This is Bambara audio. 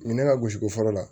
U ye ne ka gosigo fɔ la